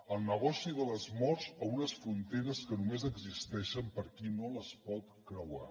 el negoci de les morts a unes fronteres que només existeixen per a qui no les pot creuar